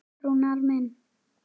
Rúnar minn.